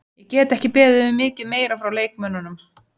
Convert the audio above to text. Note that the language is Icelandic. Ég get ekki beðið um mikið meira frá leikmönnunum.